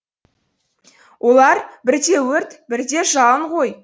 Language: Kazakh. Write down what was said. олар бірде өрт бірде жалын ғой